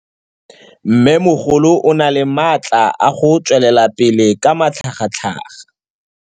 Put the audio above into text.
Mmêmogolo o na le matla a go tswelela pele ka matlhagatlhaga.